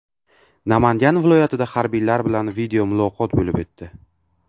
Namangan viloyatida harbiylar bilan videomuloqot bo‘lib o‘tdi.